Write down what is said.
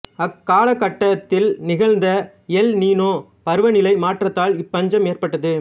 அக்காலகட்டத்தில் நிகழ்ந்த El Nino பருவநிலை மாற்றத்தால் இப்பஞ்சம் ஏற்பட்டது